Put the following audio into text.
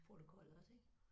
Protokol også ik